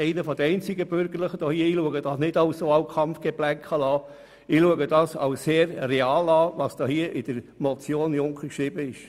Ich betrachte das nicht als Wahlkampfgeplänkel, sondern ich erachte es als sehr real, was hier in der Motion Junker geschrieben wurde.